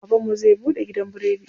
Baban mu zai buɗe gidan biredi.